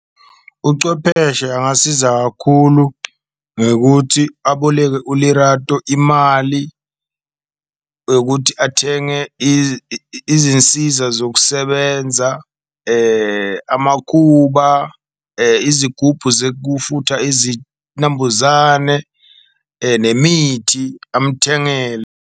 Ucwepheshe angasiza kakhulu ngekuthi aboleke uLerato imali yokuthi athenge izinsiza zokusebenza, amakuba, izigubhu zekufutha izinambuzane, nemithi amthengele.